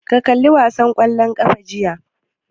Ka kalla wasan ƙwallon ƙafa jiya?